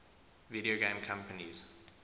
video game companies